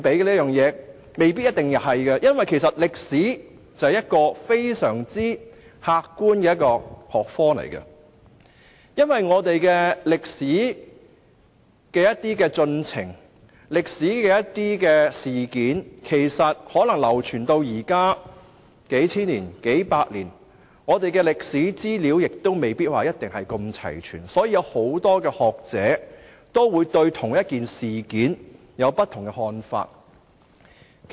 答案未必是一定的，因為歷史是非常客觀的學科，而歷史進程和歷史事件經過數百年、數千年流傳至今，資料未必齊全，所以很多學者對同一事件亦會有不同的看法。